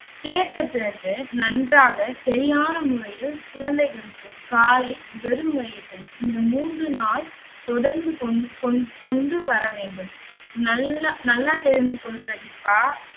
சேர்த்த பிறகு நன்றாக சரியான முறையில் குழந்தைகளுக்கு காலை வெறும் வயிற்றில் இந்த மூன்று நாள் தொடர்ந்து கொண்~ கொண்~ கொண்டுவரவேண்டும் நல்லா, நல்லா தெரிந்து கொள் பிரதீபா.